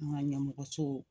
An ka ɲɛmɔgɔ so